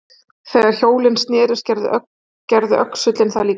Þegar hjólin snerust gerði öxullinn það líka.